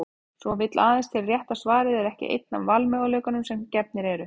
Svo vill aðeins til að rétta svarið er ekki einn af valmöguleikunum sem gefnir eru.